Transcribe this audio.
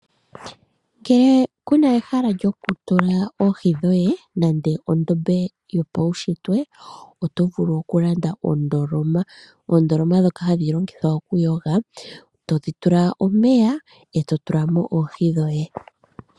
Ngele ku na ehala lyokutula oohi dhoye, nenge ondombe yopaunshitwe, oto vulu okulanda ondoloma. Oondoloma ndhoka hadhi longithwa okuyoga. Todhi tula omeya, e to tula mo oohi dhoye.